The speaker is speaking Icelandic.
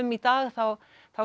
í dag þá